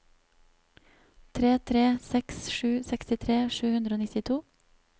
tre tre seks sju sekstitre sju hundre og nittito